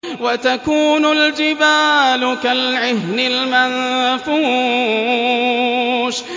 وَتَكُونُ الْجِبَالُ كَالْعِهْنِ الْمَنفُوشِ